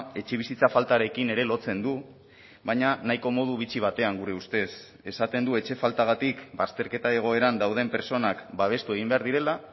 etxebizitza faltarekin ere lotzen du baina nahiko modu bitxi batean gure ustez esaten du etxe faltagatik bazterketa egoeran dauden pertsonak babestu egin behar direla